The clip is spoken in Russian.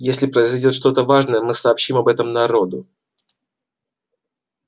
если произойдёт что-то важное мы сообщим об этом народу